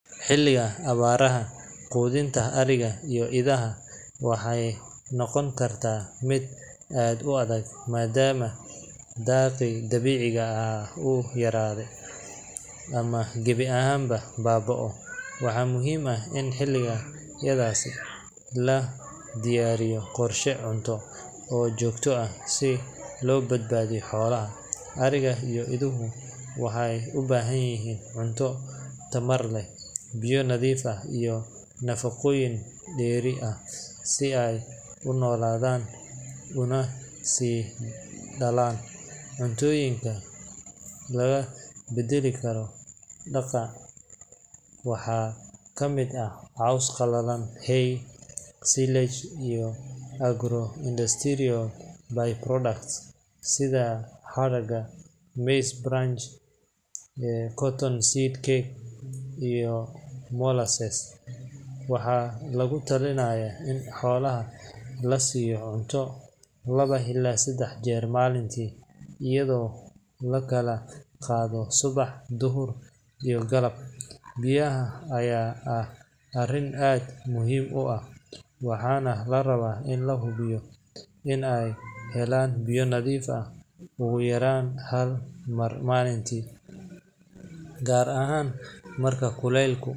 Xilliga abaaraha, quudinta ariga iyo idaha waxay noqon kartaa mid aad u adag maadaama daaqii dabiiciga ahaa uu yaraado ama gebi ahaanba baaba’o. Waxaa muhiim ah in xilliyadaas la diyaariyo qorshe cunto oo joogto ah si loo badbaadiyo xoolaha. Ariga iyo iduhu waxay u baahan yihiin cunto tamar leh, biyo nadiif ah, iyo nafaqooyin dheeri ah si ay u noolaadaan una sii dhalaan. Cuntooyinka lagu beddeli karo daaqa waxaa ka mid ah caws qalalan, hay, silage, iyo agro-industrial by-products sida hadhaaga maize bran, cotton seed cake, iyo molasses. Waxaa lagu talinayaa in xoolaha la siiyo cunto laba ilaa saddex jeer maalintii iyadoo la kala qaado subax, duhur, iyo galab. Biyaha ayaa ah arrin aad muhiim u ah, waxaana la rabaa in la hubiyo in ay helaan biyo nadiif ah ugu yaraan hal mar maalintii, gaar ahaan marka kulaylku.